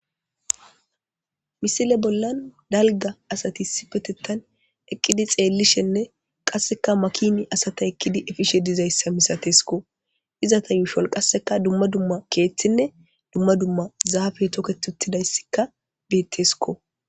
misile bollan dalga asati sipetettan eqqidi xeellishenne qasseka makini asata ekkidi efishe dizayssa misatesikko izata yuushol qasseka dumma dumma keeththinne dumma dumma zaafe toketh uttidayssika beettesiko